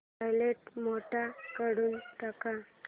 silent mode काढून टाक